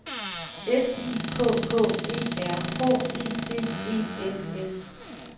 S I K K E R H E D E N S